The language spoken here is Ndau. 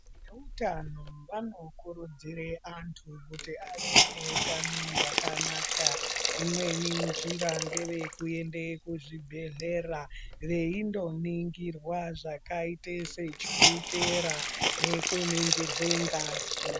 E utano vano kurudzire antu kuti ave ne hutano hwakanaka imweni njira ngeye kuende ku zvibhedhlera veindo ningirwa zvakaite se chukera neku ningirwe ngazi.